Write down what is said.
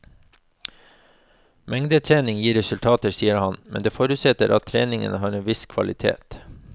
Mengdetrening gir resultater, sier han, men det forutsetter at treningen har en viss kvalitet.